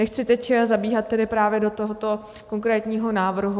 Nechci teď zabíhat tedy právě do tohoto konkrétního návrhu.